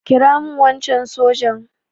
kira min wancan sojan!